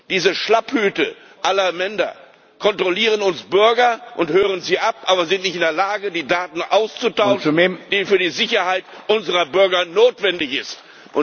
Diese Schlapphüte aller Länder kontrollieren uns Bürger und hören uns ab, sind aber nicht in der Lage, die Daten auszutauschen, die für die Sicherheit unserer Bürger notwendig sind.